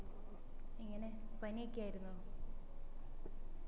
എങ്ങനെ പനിയൊക്കെ ആയിരുന്നോ